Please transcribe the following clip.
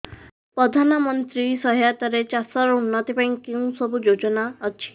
ପ୍ରଧାନମନ୍ତ୍ରୀ ସହାୟତା ରେ ଚାଷ ର ଉନ୍ନତି ପାଇଁ କେଉଁ ସବୁ ଯୋଜନା ଅଛି